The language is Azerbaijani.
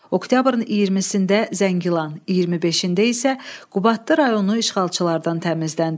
Oktyabrın 20-sində Zəngilan, 25-ində isə Qubadlı rayonu işğalçılardan təmizləndi.